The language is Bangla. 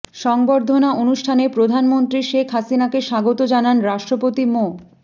সংবর্ধনা অনুষ্ঠানে প্রধানমন্ত্রী শেখ হাসিনাকে স্বাগত জানান রাষ্ট্রপতি মো